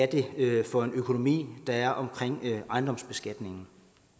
det er for en økonomi der er omkring ejendomsbeskatningen